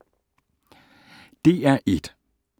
DR1